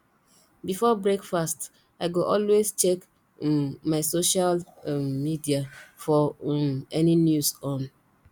before breakfast i go always check um my social um media for um any news on